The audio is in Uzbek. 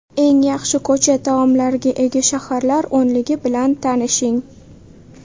Eng yaxshi ko‘cha taomlariga ega shaharlar o‘nligi bilan tanishing .